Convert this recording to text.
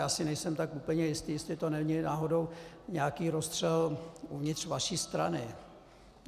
Já si nejsem tak úplně jistý, jestli to není náhodou nějaký rozstřel uvnitř vaší strany.